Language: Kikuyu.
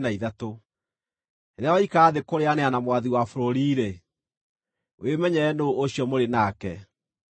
Rĩrĩa waikara thĩ kũrĩĩanĩra na mwathi wa bũrũri-rĩ, wĩmenyerere nũũ ũcio mũrĩ nake;